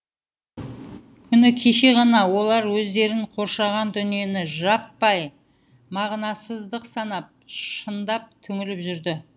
күні кеше ғана олар өздерін қоршаған дүниені жаппай мағынасыздық санап шындап түңіліп жүрді